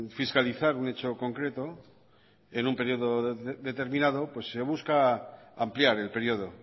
fiscalizar un hecho concreto en un periodo determinado se busca ampliar el periodo